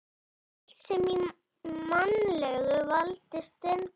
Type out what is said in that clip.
Allt sem í mannlegu valdi stendur.